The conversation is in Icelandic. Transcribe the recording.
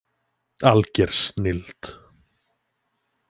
Alger snilld